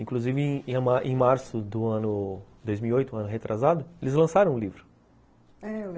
Inclusive, em março de dois mil e oito, um ano retrasado, eles lançaram o livro, é, eu lembro